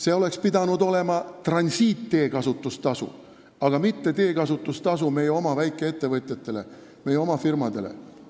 See oleks pidanud olema transiitteekasutustasu, aga mitte teekasutustasu meie oma väikeettevõtjatele, meie oma firmadele.